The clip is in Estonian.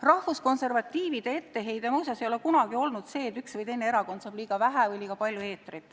Rahvuskonservatiivide etteheide ei ole muuseas kunagi olnud see, et üks või teine erakond saab liiga vähe või liiga palju eetrit.